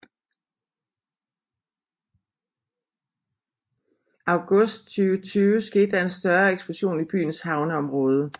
August 2020 skete der en større eksplosion i byens havneområde